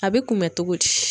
A bɛ kunbɛn cogo di?